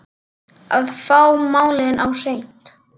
Að fá málin á hreint